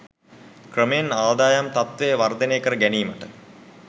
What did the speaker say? ක්‍රමයෙන් ආදායම් තත්ත්වය වර්ධනය කර ගැනීමට